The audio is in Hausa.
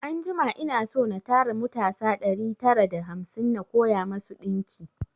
Anjima ina so na tara mutasa ɗari tara da hamsin na koya masu ɗinki